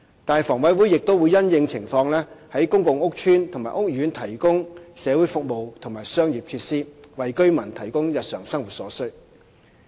但是，房委會亦會因應情況，在公共屋邨和屋苑提供社會服務和商業設施，為居民提供日常生活所需。